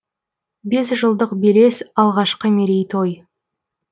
бес жылдық белес алғашқы мерейтой